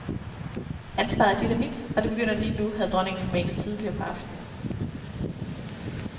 Ansvaret er dit og mit, og det begynder lige nu, havde dronningen formanet tidligere på aftenen.